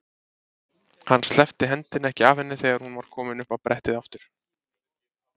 Hann sleppti hendinni ekki af henni þegar hún var komin upp á brettið aftur.